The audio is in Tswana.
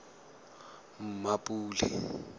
mmapule